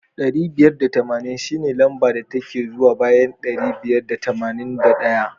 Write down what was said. Dari biyar da tamanin shine lamba da ke zuwa bayan ɗari biyar da tamanin da ɗaya.